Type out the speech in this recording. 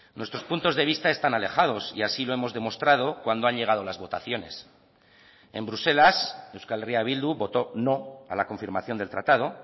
nuestros puntos de vista están alejados y así lo hemos demostrado cuando han llegado las votaciones en bruselas euskal herria bildu votó no a la confirmación del tratado